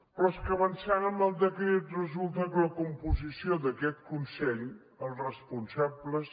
però és que avançant en el decret resulta que la composició d’aquest consell els responsables